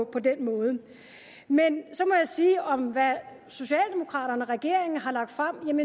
på den måde men så må jeg sige om hvad socialdemokraterne regeringen har lagt frem